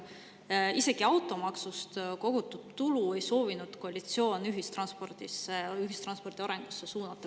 Isegi automaksust kogutud tulu ei soovinud koalitsioon ühistranspordi arengusse suunata.